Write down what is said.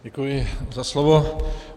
Děkuji za slovo.